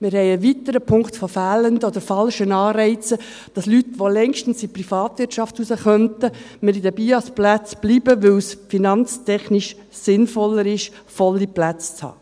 Wir haben einen weiteren Punkt von fehlenden oder falschen Anreizen, dass Leute, die längstens in die Privatwirtschaft raus könnten, in den BIAS-Plätzen bleiben, weil es finanztechnisch sinnvoller ist, volle Plätze zu haben.